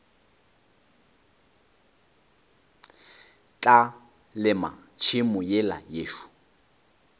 tla lema tšhemo yela yešo